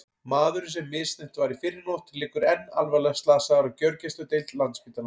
Maðurinn sem misþyrmt var í fyrrinótt liggur enn alvarlega slasaður á gjörgæsludeild Landspítalans.